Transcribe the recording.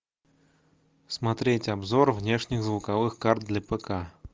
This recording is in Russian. смотреть обзор внешних звуковых карт для пк